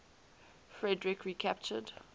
frederik recaptured